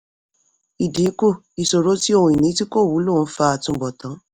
ìdínkù: ìṣòro tí ohun ìní tí kò wúlò ń fà àtúbọ̀tán.